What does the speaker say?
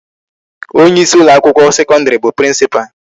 Onye isi ụlọ akwụkwọ sekọndịrị bụ principal.